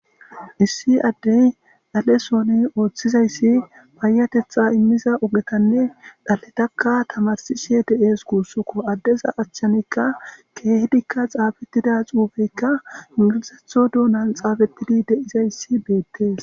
Issi addey dhalesooni ooththizayssi paayatetha immiza ogetanne dhaletakka tamarsishe de'ees kuussuko addeza achchanikka keehdikka xaabettida xuubeykka ingilizetho duunan xaafettidi de'izayssi beettees.